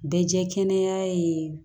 Bɛ jɛ kɛnɛya ye